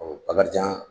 Ɔ bakarijan